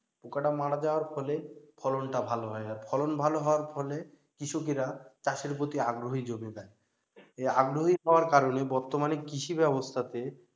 পোকাটা মারা যাওয়ার ফলে ফলনটা ভালো হয় আর ফলন ভালো হওয়ার ফলে কৃষকেরা চাষের প্রতি আগ্রহী জমে যায়, এই আগ্রহী হওয়ার কারনে বর্তমানে কৃষি ব্যবস্থাতে,